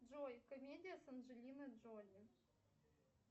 джой комедия с анджелиной джоли